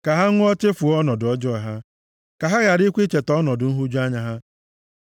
Ka ha ṅụọ chefuo ọnọdụ ọjọọ ha, ka ha gharakwa icheta ọnọdụ nhụju anya ha.